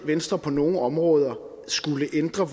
venstre på nogle områder skulle ændre